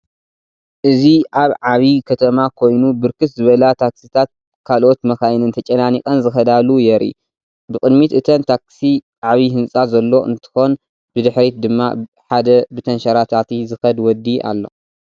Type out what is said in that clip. እዚ አብ ዓብይ ከተማ ኮይኑ ብርክት ዝበላ ታክሲታትን ካልኦት መካይንን ተጨናኒቀን ዝከዳሉ የርኢ፡፡ ብቅድሚት እተን ታክሲ ዓብይ ህንፃ ዘሎ እንትኮን ብድሕሪት ድማ ሓደ ብተንሸራታቲ ዝከይድ ወዲ አሎ፡፡